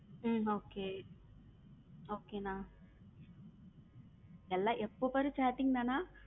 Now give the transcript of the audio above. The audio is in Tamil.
உம் okay okay அண்ணா எல்லா எப்போ பாரு chatting தான.